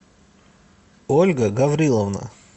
ольга гавриловна